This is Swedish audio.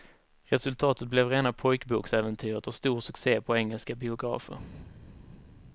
Resultatet blev rena pojkboksäventyret och stor succe på engelska biografer.